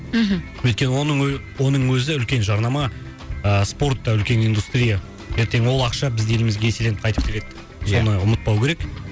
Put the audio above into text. мхм өйткені оның оның өзі үлкен жарнама ыыы спорт та үлкен индустрия ертең ол ақша біздің елімізге еселеніп қайтып келеді ия соны ұмытпау керек